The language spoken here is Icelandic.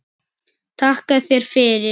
Takka þér fyrir